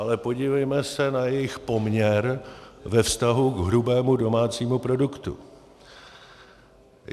Ale podívejme se na jejich poměr ve vztahu k hrubému domácímu produktu.